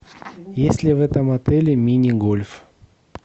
есть ли в этом отеле мини гольф